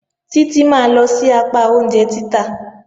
Títí máa lọ sí apá oúnjẹ títà.